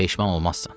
Peşman olmazsan.